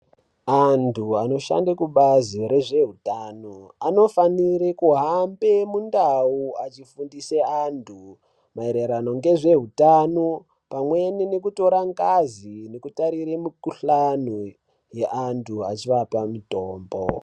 Antu anoshande kubazi rezvehutano, anofanire kuhambe mundawu achifundise antu mayererano ngezvehutano, pamweni ngekutora ngazi nekutarirwe mikhuhlane ye antu achivapa mutombo.